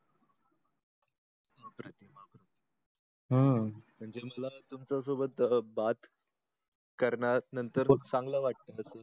हम्म त्यांच्याशी म्हणजे तुमच्या सोबत बात करणार नंतर चांगल वाटत का